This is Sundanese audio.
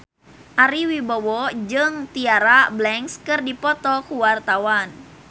Ari Wibowo jeung Tyra Banks keur dipoto ku wartawan